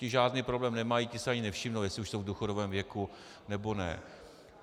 Ti žádný problém nemají, ti si ani nevšimnou, jestli už jsou v důchodovém věku, nebo ne.